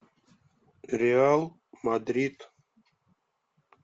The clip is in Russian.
реал мадрид